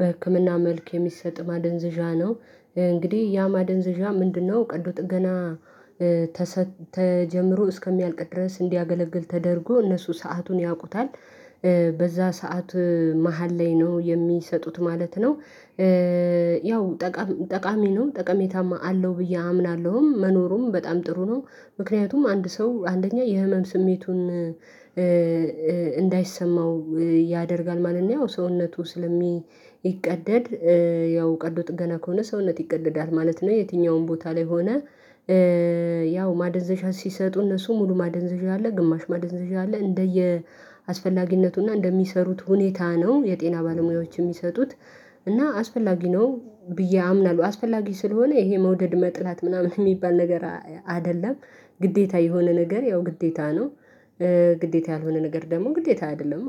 በህክምና መልክ የሚሰጥ ማደንዘዣ ነው። እንግዲህ ያ ማደንዘዣ ምንድነው ቀዶ ጥገና? ተጀምሮ እስከሚያልቅ ድረስ እንዲያገለግል ተደርጎ እነሱ ሰአቱን ያውቁታል በዛ ሰዓት መሃል ላይ ነው የሚሰጡት ማለት ነው። ያው ጠቃሚ ነው ጠቀሜታም አለው ብዬ አምናለሁም መኖሩም በጣም ጥሩ ነው። ምክንያቱም አንድ ሰው አንደኛ የህመም ስሜቱን እንዳይሰማው ያደርጋል ማንኛውም ሰውነቱ ስለሚቀደድ ያው ቀዶ ጥገና ከሆነ ሰውነት ይቀደዳት ማለት ነው። የትኛውም ቦታ ላይ ሆነ ያው ማደንዘዣ ሲሰጡ እነሱ ሙሉ ማደንዘዣ አለ ግማሽ ማደንዘዣ አለ እንደየ አስፈላጊነቱና እንደሚሰሩት ሁኔታ ነው የጤና ባለሙያዎች የሚሰጡት። እና አስፈላጊ ነው ብዬ አምናለሁ አስፈላጊ ስለሆነ ይሄ መውደድ መጥላት ምናምን የሚባል ነገር አይደለም። ግዴታ የሆነ ነገር ያው ግዴታ ነው። ግዴታ ያልሆነ ነገር ደግሞ ግዴታ አይደለም